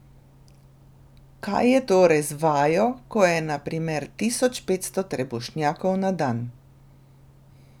Kaj je torej z vajo, ko je na primer tisoč petsto trebušnjakov na dan?